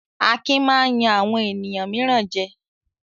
Akin máa ń yan àwọn ènìyàn mìíràn jẹ.